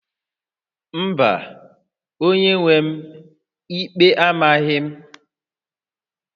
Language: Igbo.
Mba, onye-nwe m, ikpe amaghị m